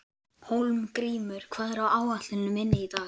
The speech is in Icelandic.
Hólmgrímur, hvað er á áætluninni minni í dag?